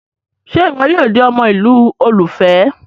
Ṣe iwọ yoo di ọmọ ilu olufẹ?